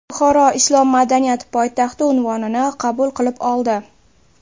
Buxoro Islom madaniyati poytaxti unvonini qabul qilib oldi.